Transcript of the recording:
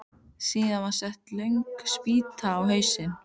Síðan var sett löng spýta á hausinn.